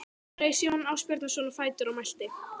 Þá reis Jón Ásbjarnarson á fætur og mælti